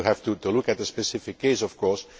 You have to look at the specific case of course.